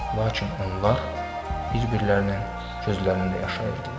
Lakin onlar bir-birlərinin gözlərində yaşayırdılar.